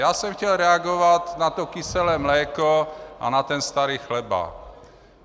Já jsem chtěl reagovat na to kyselé mléko a na ten starý chleba.